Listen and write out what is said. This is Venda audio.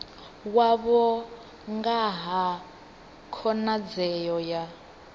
wavho nga ha khonadzeo ya